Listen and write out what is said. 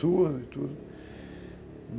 Surdo e tudo.